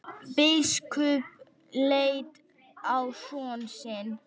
Biskup leit á son sinn.